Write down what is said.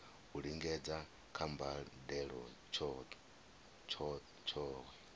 u lingedza kha mbadelo tshohe